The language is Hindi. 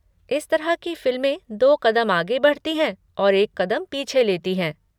इस तरह की फिल्में दो कदम आगे बढ़ती हैं और एक कदम पीछे लेती हैं।